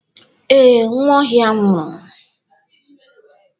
Ee, Nwaohia nwuru.